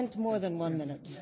We have spent more than one